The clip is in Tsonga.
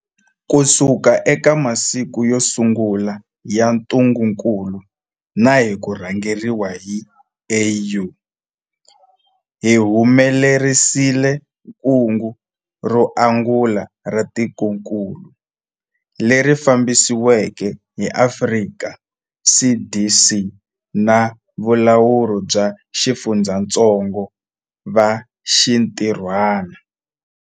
Kusuka eka masiku yo sungula ya ntungukulu na hi ku rhangeriwa hi AU, hi humelerisile kungu ro angula ra tikokulu, leri fambisiweke hi Afrika CDC na valawuri va xifundzatsongo va xintirhwana.